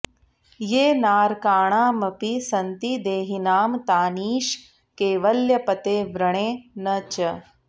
ये नारकाणामपि सन्ति देहिनां तानीश कैवल्यपते वृणे न च